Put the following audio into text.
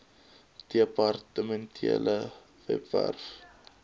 depar tementele webwerf